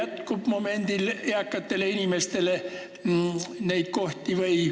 Kas momendil jätkub eakatele inimestele kohti?